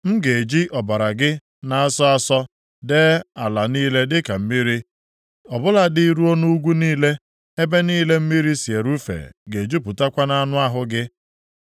M ga-eji ọbara gị na-asọ asọ dee ala niile dịka mmiri ọ bụladị ruo nʼugwu niile, ebe niile mmiri si erufe ga-ejupụtakwa nʼanụ ahụ gị.